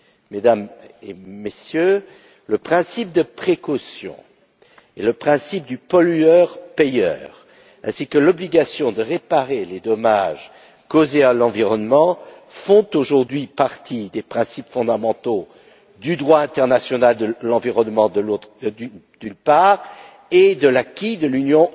Mesdames et Messieurs, le principe de précaution et le principe du pollueur payeur, ainsi que l'obligation de réparer les dommages causés à l'environnement font aujourd'hui partie des principes fondamentaux du droit international de l'environnement, d'une part, et de l'acquis de l'Union